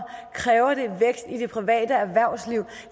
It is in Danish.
kræver det vækst i det private erhvervsliv